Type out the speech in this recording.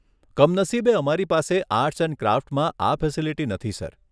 કમનસીબે અમારી પાસે આર્ટસ એન્ડ ક્રાફ્ટમાં આ ફેસીલીટી નથી સર.